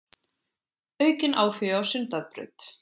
Aukinn áhugi á Sundabraut